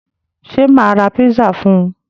Ṣé mà ra pizza fún un?